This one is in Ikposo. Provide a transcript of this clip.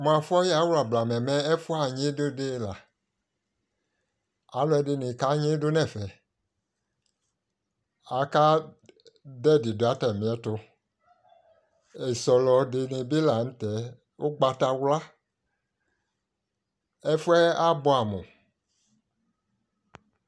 Mʋ afɔyawla blamɛ mɛ, ɛfʋannyɩdʋ dɩ la Alʋɛdɩnɩ kanyɩdʋ nʋ ɛfɛ Akadʋ ɛdɩ dʋ atamɩɛtʋ E sɔlɔ dɩnɩ bɩ la nʋ tɛ ʋgbatawla Ɛfʋ yɛ abʋɛamʋ